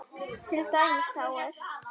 Til dæmis þá er